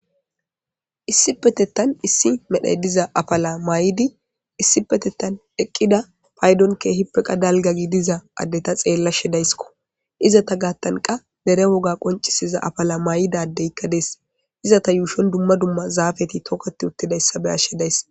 Issi petettan issi medhey diza apala maay'idi issi petettan eqqida paydon keehippeqa dalgagi diza addeta xeella shedayskko iza ta gaattanqa dere woga qoncisiza afala maay'idadeykk dees iza ta yuushon dumma dumma zaafeti tokkoti uttidayssa beyas shedays.